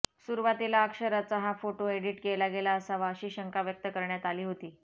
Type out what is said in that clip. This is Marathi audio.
सुरुवातीला अक्षराचा हा फोटो एडीट केला गेला असावा अशी शंका व्यक्त करण्यात आली होती